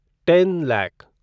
ten lakh